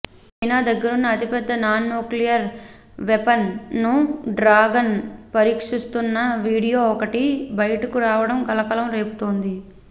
China దగ్గరున్న అతిపెద్ద non nuclear weapon ను డ్రాగన్ పరీక్షిస్తోన్న వీడియో ఒకటి బయటకు రావడం కలకలం రేపుతోంది